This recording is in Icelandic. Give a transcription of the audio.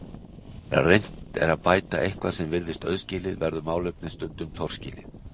Þegar reynt er að bæta eitthvað sem virðist auðskilið verður málefnið stundum torskilið.